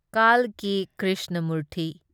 ꯀꯥꯜꯀꯤ Krishnamurthy